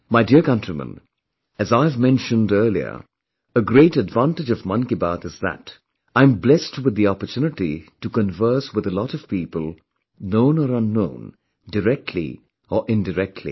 My dear countrymen, as I have mentioned earlier, a great advantage of Mann Ki Baat is that, I'm blessed with the opportunity to converse with a lot of people, known or unknown, directly or indirectly